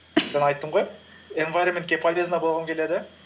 жаңа айттым ғой инвайроментке полезный болғым келеді